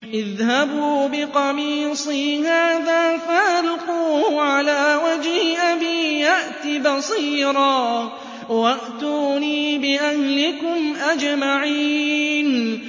اذْهَبُوا بِقَمِيصِي هَٰذَا فَأَلْقُوهُ عَلَىٰ وَجْهِ أَبِي يَأْتِ بَصِيرًا وَأْتُونِي بِأَهْلِكُمْ أَجْمَعِينَ